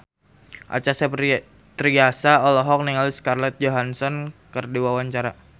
Acha Septriasa olohok ningali Scarlett Johansson keur diwawancara